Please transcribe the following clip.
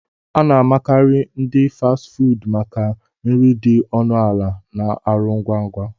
A na-amakarị ndi Fasti fuudu maka nri dị ọnụ ala na ọrụ ngwa ngwa